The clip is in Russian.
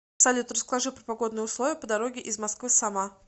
салют расскажи про погодные условия по дороге из москвы сама